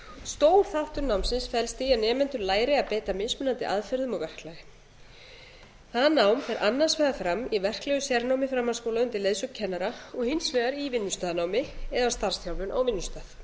stór þáttur námsins felst í að nemendur læri að beita mismunandi aðferðum og verklagi það nám fer annars vegar fram í verklegu sérnámi framhaldsskóla undir leiðsögn kennara og hins vegar í vinnustaðanámi eða starfsþjálfun á vinnustað